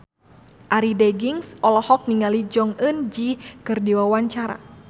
Arie Daginks olohok ningali Jong Eun Ji keur diwawancara